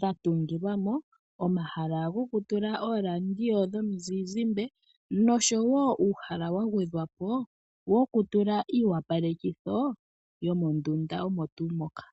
dhatungilwa mo, omahala gokutula ooradio dhomizizimbe, noshowo uuhala wagwedhwapo wokutula iiwapalekitho, yomondunda omo tuu moka.